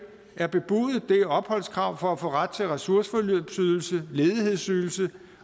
er bebudet det er et opholdskrav for at få ret til ressourceforløbsydelse ledighedsydelse